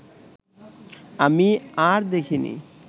আমি আর দেখিনি